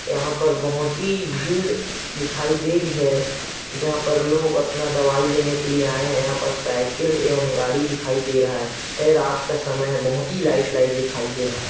यहाँ पर बहोत ही भीड़ दिखाई दे रही है जहाँ पर लोग अपना दवाई लेने आए है यहाँ पर साइकिल एवं गाड़ी दिखाई दे रहा है यह रात का समय है बहोत ही लाइट लाइट दिखाई दे रहा है।